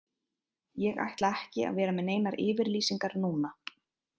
Ég ætla ekki að vera með neinar yfirlýsingar núna.